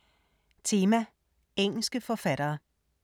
Tema: Engelske forfattere